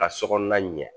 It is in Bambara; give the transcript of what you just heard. Ka sokɔnɔna ɲɛ